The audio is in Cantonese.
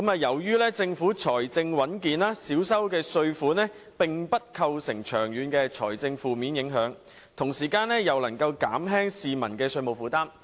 由於政府財政穩健，少收的稅款並不會構成長遠的財政負面影響，同時又能減輕市民的稅務負擔。